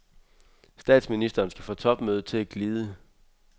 Statsministeren skal få topmødet til at glide.